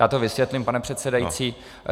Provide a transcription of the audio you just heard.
Já to vysvětlím, pane předsedající.